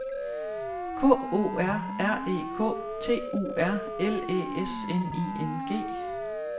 K O R R E K T U R L Æ S N I N G